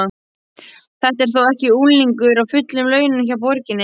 Þetta er þó ekki unglingur á fullum launum hjá borginni?